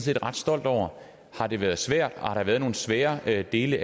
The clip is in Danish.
jeg ret stolt over har det været svært og har der været nogle svære svære dele